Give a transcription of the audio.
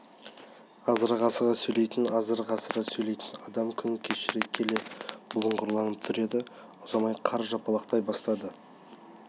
азырақ асыға сөйлейтін азырақ асыра сөйлейтін адам күн кешкіре келе бұлыңғырланып тұр еді ұзамай қар жапалақтай бастады